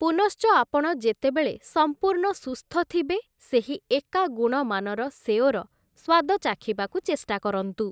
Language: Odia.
ପୁନଶ୍ଚ ଆପଣ ଯେତେବେଳେ ସମ୍ପୂର୍ଣ୍ଣ ସୁସ୍ଥ ଥିବେ ସେହି ଏକା ଗୁଣମାନର ସେଓର ସ୍ଵାଦ ଚାଖିବାକୁ ଚେଷ୍ଟା କରନ୍ତୁ ।